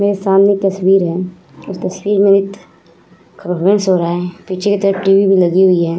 मेरे सामने तस्वीर है उस तस्वीर में एक पीछे की तरफ टीवी भी लगी हुवी है ।